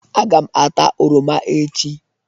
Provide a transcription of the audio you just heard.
Aga m ata oroma echi.